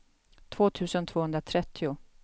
två tusen tvåhundratrettio